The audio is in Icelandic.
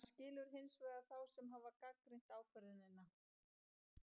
Hann skilur hins vegar þá sem hafa gagnrýnt ákvörðunina.